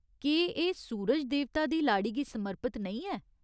केह् एह् सूरज देवता दी लाड़ी गी समर्पित नेईं ऐ ?